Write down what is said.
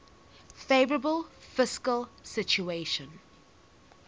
favourable fiscal situation